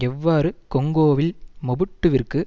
எவ்வாறு கொங்கோவில் மொபுட்டுவிற்கு